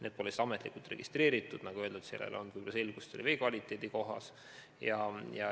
Need pole ametlikult registreeritud kohad ja nagu öeldud, pole võib-olla selgust, milline on seal vee kvaliteet.